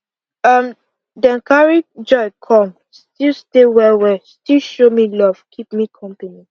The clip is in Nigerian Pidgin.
um dem carry joy come still stay well well still show me love keep me company